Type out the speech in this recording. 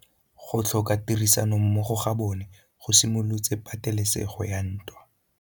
Go tlhoka tirsanommogo ga bone go simolotse patêlêsêgô ya ntwa.